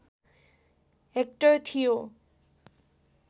hectare थियो